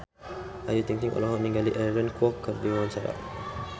Ayu Ting-ting olohok ningali Aaron Kwok keur diwawancara